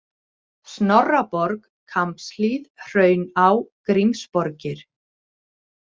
Snorraborg, Kambshlíð, Hrauná, Grímsborgir